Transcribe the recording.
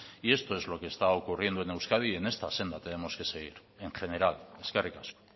y esto es lo que está ocurriendo en euskadi y en esta senda tenemos que seguir en general eskerrik asko